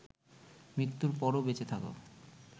মৃত্যুর পরও বেঁচে থাকা